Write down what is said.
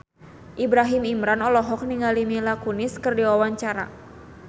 Ibrahim Imran olohok ningali Mila Kunis keur diwawancara